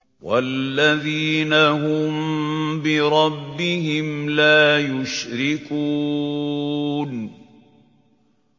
وَالَّذِينَ هُم بِرَبِّهِمْ لَا يُشْرِكُونَ